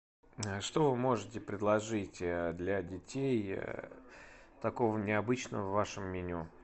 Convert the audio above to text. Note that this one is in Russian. что вы можете предложить для детей такого необычного в вашем меню